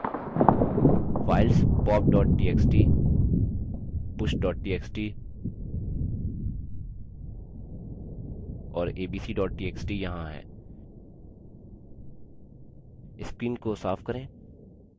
files pop txt push txt और abc txt यहाँ हैं screen को साफ करें